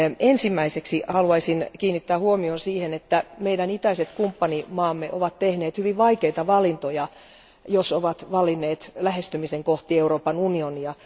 Ensimmäiseksi haluaisin kiinnittää huomion siihen, että meidän itäiset kumppanimaamme ovat tehneet hyvin vaikeita valintoja, jos ovat valinneet lähestymisen kohti Euroopan unionia.